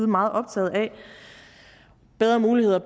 meget optaget af bedre muligheder